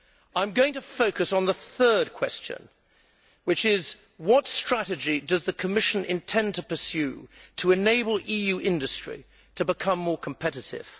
I am going to focus on the third question, which is what strategy does the Commission intend to pursue to enable EU industry to become more competitive?